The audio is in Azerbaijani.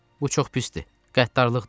Bu çox pisdir, qəddarlıqdır, Yeva dedi.